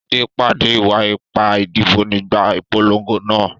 Sade pàdé ìwà ipá ìdìbò nígbà ìpolongo náà.